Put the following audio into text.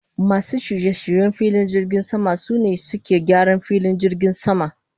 Masun shirye-shiryen filin jirgin sama, sune suke gyaran filin jirgin sama.